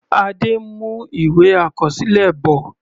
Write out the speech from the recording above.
Adé ń mú ìwé àkọsílẹ bọ̀.